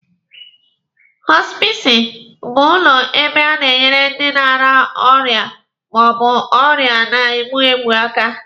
Họspisi bụ ụlọ ebe a na-enyere ndị na-ara ọrịa ma ọ bụ ọrịa na-egbu egbu aka.